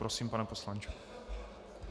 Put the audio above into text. Prosím, pane poslanče.